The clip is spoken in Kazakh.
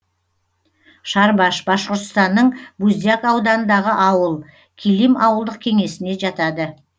шарбаш башқұртстанның буздяк ауданындағы ауыл килим ауылдық кеңесіне жатады